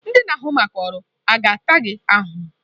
Ndị na-ahụ maka ọrụ a taa gị ahụhụ?